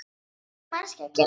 Hvað á þessi manneskja að gera?